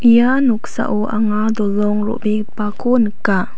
ia noksao anga dolong ro·begipako nika.